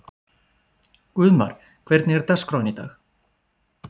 Guðmar, hvernig er dagskráin í dag?